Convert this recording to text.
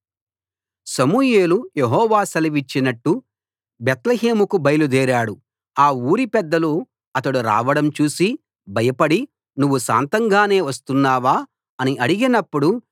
సమూయేలు యెహోవా సెలవిచ్చినట్టు బేత్లెహేముకు బయలుదేరాడు ఆ ఊరి పెద్దలు అతడు రావడం చూసి భయపడి నువ్వు శాంతంగానే వస్తున్నావా అని అడిగినప్పుడు